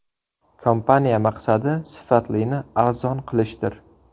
Kompaniya maqsadi sifatlini arzon qilishdir.